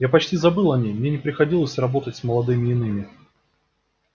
я почти забыл о ней мне не приходилось работать с молодыми иными